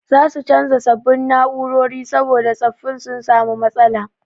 Za su canza sabbin na'urori saboda tsaffin sun samu matsala.